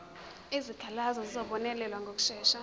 izikhalazo zizobonelelwa ngokushesha